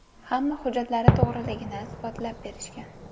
Hamma hujjatlari to‘g‘riligini isbotlab berishgan.